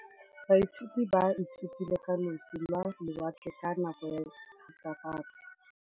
Baithuti ba ithutile ka losi lwa lewatle ka nako ya Thutafatshe.